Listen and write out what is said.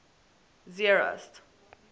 zeerust